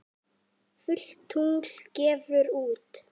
Fullt tungl gefur út.